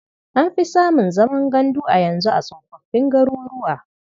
An fi samun zaman gandu a yanzu a tsofoffin garuruwa.